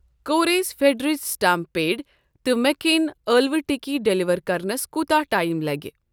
Queries فٮ۪در touch stamp pad تہٕ مٮ۪ک کیٖن ٲلوٕ ٹِکی ڈیلیور کرنَس کوٗتاہ ٹایم لَگہِ۔